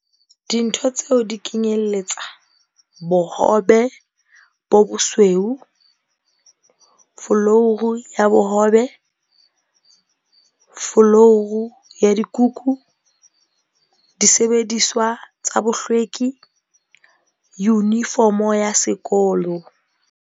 Dintho tseo di kenyelletsa- l Bohobe bo bosweu l Folouru ya bohobel Folouru ya dikukusil Disebediswa tsa bohlwekil Yunifomo ya sekolol